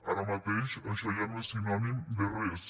ara mateix això ja no és sinònim de res